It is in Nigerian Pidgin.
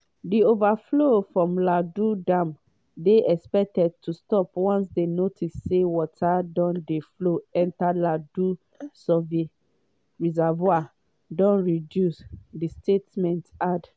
“di overflow from lagdo dam dey expected to stop once dem notice say water wey dey flow enta lagdo reservoir don reduce” di statement add.